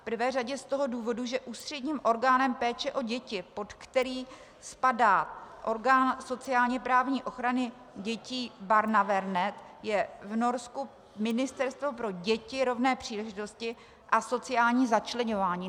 V prvé řadě z toho důvodu, že ústředním orgánem péče o děti, pod který spadá orgán sociálně-právní ochrany dětí Barnevern, je v Norsku Ministerstvo pro děti, rovné příležitosti a sociální začleňování.